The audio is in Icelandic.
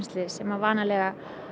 sem vanalega